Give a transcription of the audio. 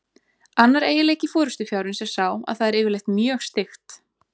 Annar eiginleiki forystufjárins er sá að það er yfirleitt mjög styggt.